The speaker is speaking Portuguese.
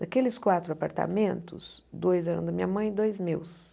Daqueles quatro apartamentos, dois eram da minha mãe e dois meus.